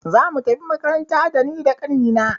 Zamu tafi makaranta da ni da ƙani na.